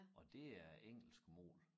Og det er engelsk mål